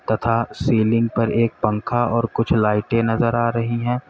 तथा सीलिंग पर एक पंखा और कुछ लाइटें नजर आ रही है।